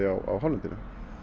á hálendinu